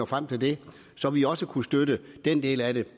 frem til det så vi også kunne støtte den del af det